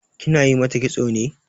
Kina yi mata kitso ne?